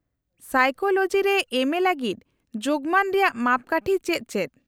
-Psychology ᱨᱮ ᱮᱢᱹᱮ ᱞᱟᱹᱜᱤᱫ ᱡᱳᱜᱢᱟᱱ ᱨᱮᱭᱟᱜ ᱢᱟᱯ ᱠᱟᱴᱷᱤ ᱪᱮᱫ ᱪᱮᱫ ?